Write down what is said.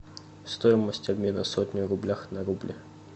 стоимость обмена сотни в рублях на рубли